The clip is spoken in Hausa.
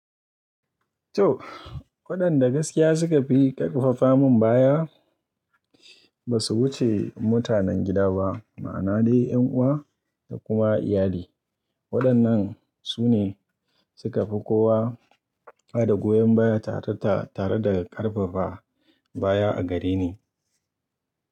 To waɗanda gaskiya suka fi ƙarfafa min baya ba su wuce mutanen gida ba, ma'ana dai 'yan uwa da kuma iyali. Waɗannan su ne suka fi kowa hada goyon baya tare da ƙarfafa baya a gare ni.